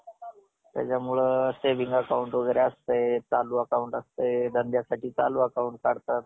Pot चं ice cream छान असायचं. खूप वर्षांनी, माहेरी राहायला गेल्यानी, सुरवातीला सारखं जावसं वाटतं. पण जसजसे संसारात रमत गेलं.